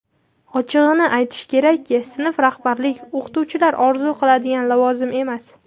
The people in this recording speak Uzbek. Ochig‘ini aytish kerak sinf rahbarlik o‘qituvchilar orzu qiladigan lavozim emas.